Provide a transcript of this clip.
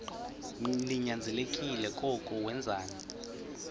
ninyanzelekile koko wenzeni